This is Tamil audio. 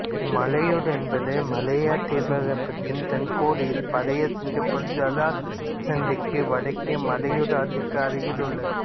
மலையூர் என்பது மலேயா தீபகற்பத்தின் தென்கோடியில் பழைய சிங்கப்பூர் ஜலசந்திக்கு வடக்கே மலாயூர் ஆற்றுக்கு அருகில் உள்ளது